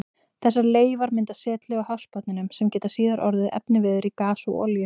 Þessar leifar mynda setlög á hafsbotninum sem geta síðar orðið efniviður í gas og olíu.